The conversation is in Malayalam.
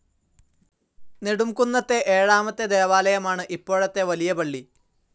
നെടുംകുന്നത്തെ ഏഴാമത്തെ ദേവാലയമാണ് ഇപ്പോഴത്തെ വലിയ പളളി.